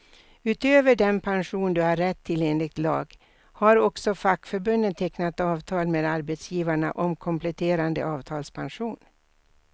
Utöver den pension du har rätt till enligt lag, har också fackförbunden tecknat avtal med arbetsgivarna om kompletterande avtalspension.